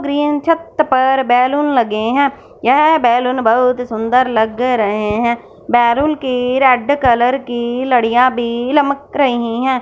Green छत पर balloon लगे हैं यह बैलून बहुत सुंदर लग रहे हैं बैलून की रेड कलर की लडियां भी लमक रहीं हैं।